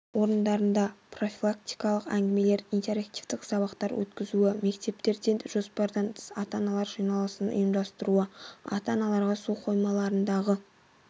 орындарында профилактикалық әңгімелер интерактивтік сабақтар өткізуі мектептерде жоспардан тыс ата-аналар жиналысын ұйымдастыруы ата-аналарға су қоймаларындағы